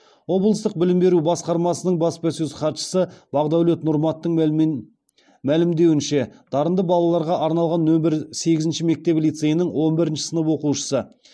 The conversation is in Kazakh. облыстық білім беру басқармасының баспасөз хатшысы бағдәулет нұрматтың мәлімдеуінше дарынды балаларға арналған нөмір сегізінші мектеп лицейінің он бірінші сынып оқушысы